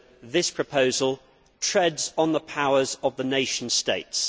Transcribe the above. This proposal also treads on the powers of the nation states.